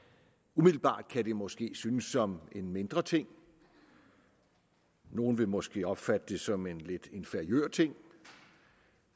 umiddelbart kan det måske synes som en mindre ting nogle vil måske opfatte det som en lidt inferiør ting